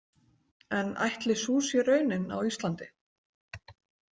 En ætli sú sé raunin á Íslandi?